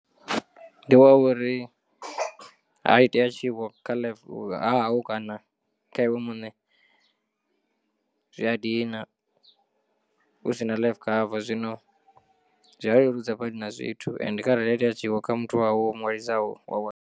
Ndi wa uri ha itea tshiwo kha hahau kana kha iwe muṋe zwi a dina hu si na life cover, zwino zwi a leludza badi na zwithu ende kharali ha itea tshiwo kha muthu wa hau womu ṅwalisaho wa wana.